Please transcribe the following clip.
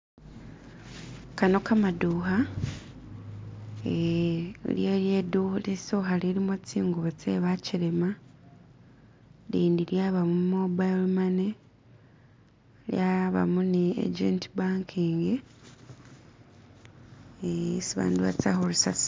Gano gamaduka eee iliyo liduka lisoka lilimo zingubo ze bakasi lindi lyabamu mobile money lyabamu ni agent banking esi abantu baza kutosayo si.